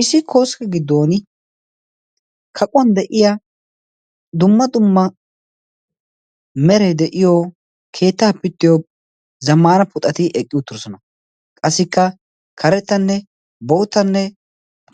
Issi koskke giddon kaquwan de'iyaa dumma dumma meray de'iyo keettaa zamman puxxati eqqi uttidoosona. qassikka karettanne boottanne